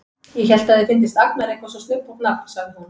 Ég hélt að þér fyndist Agnar eitthvað svo snubbótt nafn, sagði hún.